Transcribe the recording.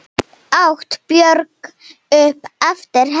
át Björg upp eftir henni.